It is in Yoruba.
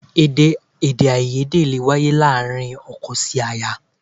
Èdè èdèàìyedè lè wáyé láàárín ọkọ sí ìyá